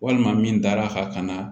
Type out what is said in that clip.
Walima min dar'a kan